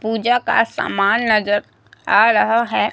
पूजा का सामान नजर आ रहा है।